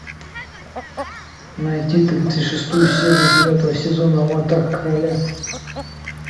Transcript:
найти тридцать шестую серию девятого сезона аватар короля